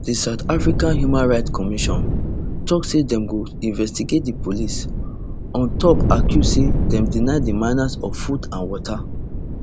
di south african human rights commission tok say dem go investigate di police on top accuse say dem deny di miners of food and water